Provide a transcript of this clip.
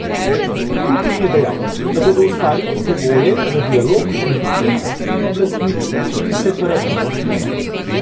Putin je dejal, da bodo ustvarili pogoje za dialog med ukrajinskimi oblastmi in separatisti.